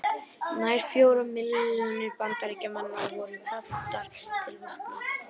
Nær fjórar milljónir Bandaríkjamanna voru kvaddar til vopna.